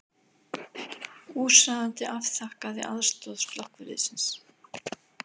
Húsráðandi afþakkaði aðstoð slökkviliðsins